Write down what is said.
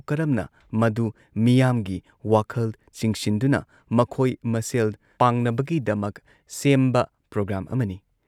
ꯀꯔꯝꯅ ꯃꯗꯨ ꯃꯤꯌꯥꯝꯒꯤ ꯋꯥꯈꯜ ꯆꯤꯡꯁꯤꯟꯗꯨꯅ ꯃꯈꯣꯏ ꯃꯁꯦꯜ ꯄꯥꯡꯅꯕꯒꯤꯗꯃꯛ ꯁꯦꯝꯕ ꯄ꯭ꯔꯣꯒ꯭ꯔꯥꯝ ꯑꯃꯅꯤ ꯫